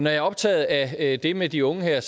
er optaget af det med de unge her er